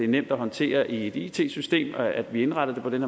nemt at håndtere i et it system at vi indretter det på den